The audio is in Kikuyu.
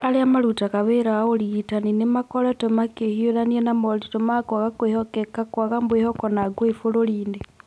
Arĩa marutaga wĩra wa ũrigitani nĩ makoretwo makĩhiũrania na moritũ ma kwaga kwĩhokeka kwaga mwĩhoko na ngũĩ bũrũri-inĩ.